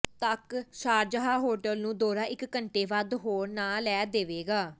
ਤੱਕ Sharjah hotel ਨੂੰ ਦੌਰਾ ਇਕ ਘੰਟੇ ਵੱਧ ਹੋਰ ਲੈ ਨਾ ਦੇਵੇਗਾ